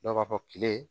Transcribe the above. Dɔw b'a fɔ kile